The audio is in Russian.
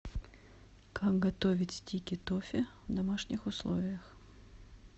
как готовить стики тоффи в домашних условиях